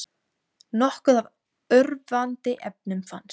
Nokkuð af örvandi efnum fannst